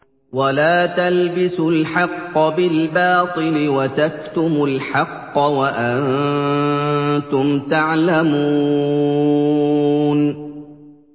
وَلَا تَلْبِسُوا الْحَقَّ بِالْبَاطِلِ وَتَكْتُمُوا الْحَقَّ وَأَنتُمْ تَعْلَمُونَ